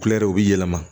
Kulɛriw bɛ yɛlɛma